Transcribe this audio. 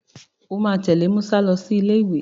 O máa tẹ̀lé Musa lọ sí ilé ìwé.